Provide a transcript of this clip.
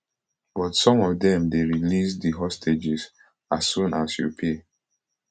but some of dem dey release di hostages as soon as you pay